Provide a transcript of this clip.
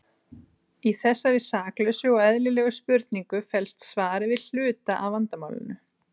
Í þessari saklausu og eðlilegri spurningu felst svarið við hluta af vandamálinu.